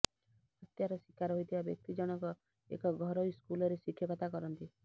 ହତ୍ୟାର ଶିକାର ହୋଇଥିବା ବ୍ୟକ୍ତି ଜଣକ ଏକ ଘରୋଇ ସ୍କୁଲରେ ଶିକ୍ଷକତା କରନ୍ତି